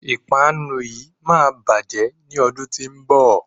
Ìpanu yíì máa bàjẹ́ ní ọdún tó ń bọ̀.